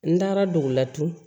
N taara dugu la tugun